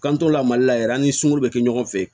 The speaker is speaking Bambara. K'an to la mali la yɛrɛ an ni sunkuru bɛ kɛ ɲɔgɔn fɛ